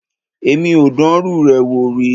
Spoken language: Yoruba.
Èmi ò dánrú rẹ̀ wò rí.